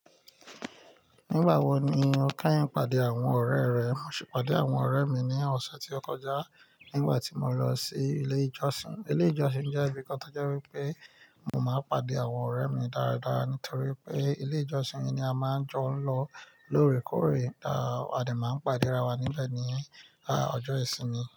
Nígbà wo ni o keyin pàdé àwọn ọ̀rẹ́ rẹ? Mo sì pàdé àwọn ọ̀rẹ́ mi ní ọ̀sẹ̀ tí ó kọjá, nígbà tí mo lọ sí ilé ìjọsìn. Ilé ìjọsìn jẹ́ ibì kan tí ó jẹ́ wípé mo máa ń pàdé àwọn ọ̀rẹ́ mi dáradára nítorí pé ilé ìjọsìn ni a máa ń jọ ń lọ lóòrèkóòrè, à de máa ń pàdé ra wa níbẹ̀ ní ọjọ́ ìsinmi.